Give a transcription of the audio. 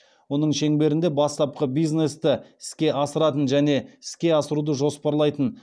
оның шеңберінде бастапқы бизнесті іске асыратын және іске асыруды жоспарлайтын